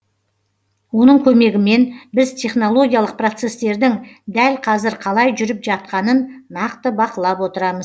оның көмегімен біз технологиялық процесстердің дәл қазір қалай жүріп жатқанын нақты бақылап отырамыз